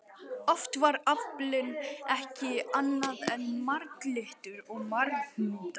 Oft var aflinn ekki annað en marglyttur og marhnútar.